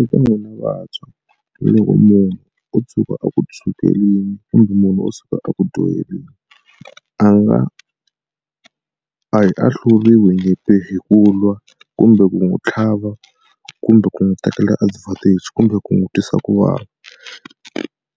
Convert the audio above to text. Eka n'wina vantshwa loko munhu o tshuka a ku kumbe munhu o tshuka a ku dyoheriwa a nga a hi ahluriwe nyimpi hi ku lwa kumbe ku n'wi tlhava kumbe ku n'wi tekela advantage kumbe ku n'wi twisa ku vava.